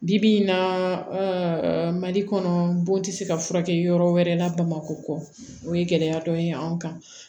Bi bi in na mali kɔnɔ bon tɛ se ka furakɛ yɔrɔ wɛrɛ la bamakɔ kɔ o ye gɛlɛya dɔ ye an kan